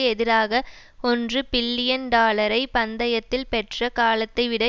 எதிராக ஒன்று பில்லியன் டாலரை பந்தயத்தில் பெற்ற காலத்தைவிட